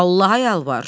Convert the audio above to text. Allaha yalvar.